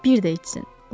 Bir də içsin.